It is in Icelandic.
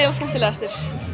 skemmtilegastur